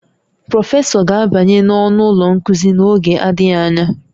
Prọfesọ ga-abanye n'ọnụ ụlọ nkuzi n'oge adịghị anya